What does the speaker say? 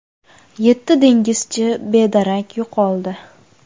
Yetti dengizchi bedarak yo‘qoldi.